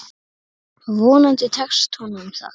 Vonandi tekst honum það.